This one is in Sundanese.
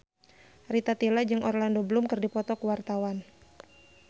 Rita Tila jeung Orlando Bloom keur dipoto ku wartawan